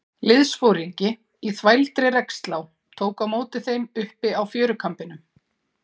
Liðsforingi í þvældri regnslá tók á móti þeim uppi á fjörukambinum.